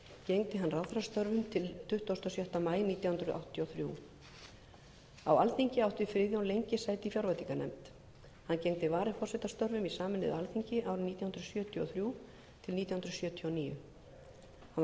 gegndi hann ráðherrastörfum til tuttugasta og sjötta maí nítján hundruð áttatíu og þrjú á alþingi átti friðjón lengi sæti í fjárveitinganefnd hann gegndi varaforsetastörfum í sameinuðu alþingi árin nítján hundruð sjötíu og þrjú til nítján hundruð sjötíu og níu hann var